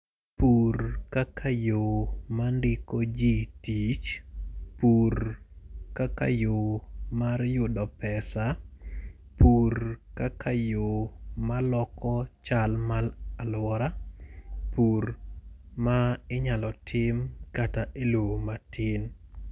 Pur kaka yo mandiko ji tich, pur kaka yo mar yudo pesa, pur kaka yo maloko chal mar alwora. Pur ma inyalo tim kata e yo matin.